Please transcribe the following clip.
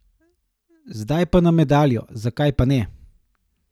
Zdaj pa na medaljo, zakaj pa ne?